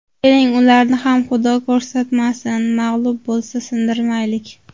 Keling, ularni ham Xudo ko‘rsatmasin, mag‘lub bo‘lsa, sindirmaylik.